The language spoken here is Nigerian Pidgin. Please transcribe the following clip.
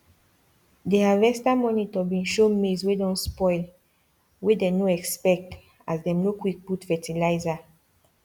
the harvester monitor been show maize wey don spoil wey dey no expect as dem no quick put fertilizer